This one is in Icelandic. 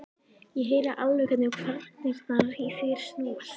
Ég heyri alveg hvernig kvarnirnar í þér snúast.